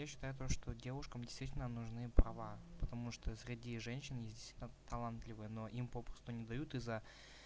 я считаю то что девушкам действительно нужны права потому что среди женщин есть действительно талантливые но им попросту не дают из-за